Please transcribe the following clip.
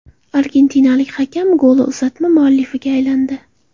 Argentinalik hakam golli uzatma muallifiga aylandi .